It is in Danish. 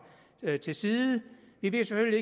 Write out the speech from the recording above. til side vi ved selvfølgelig